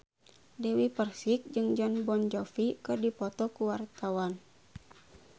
Dewi Persik jeung Jon Bon Jovi keur dipoto ku wartawan